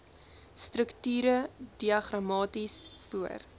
strukture diagramaties voor